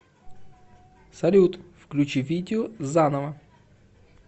салют включи видео заново